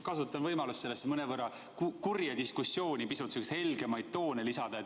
Kasutan võimalust sellesse mõnevõrra kurja diskussiooni pisut helgemaid toone lisada.